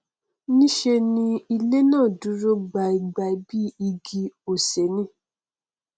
nṣe ni ilé náà dúró gbaingbain bí igi osè ni